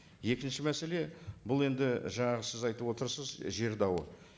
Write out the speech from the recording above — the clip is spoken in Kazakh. екінші мәселе бұл енді жаңағы сіз айтып отырсыз жер дауы